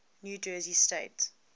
new jersey state